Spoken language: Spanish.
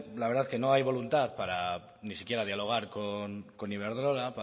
que no hay voluntad para ni siquiera dialogar con iberdrola